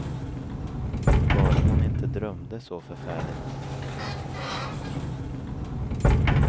Bara hon inte drömde så förfärligt.